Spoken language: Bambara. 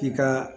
I ka